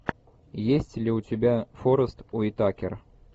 есть ли у тебя форест уитакер